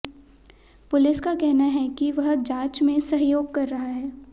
police का कहना है कि वह जांच में सहयोग कर रहा है